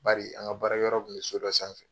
Bari an ka baara kɛyɔrɔ kun mi so dɔ sanfɛ